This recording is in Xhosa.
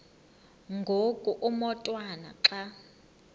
ngoku umotwana xa